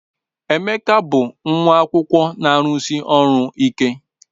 Emeka bụ nwa akwụkwọ na-arụsi ọrụ ike.